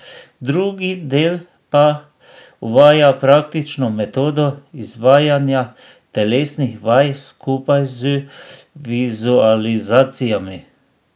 Drugi del pa uvaja praktično metodo izvajanja telesnih vaj skupaj z vizualizacijami.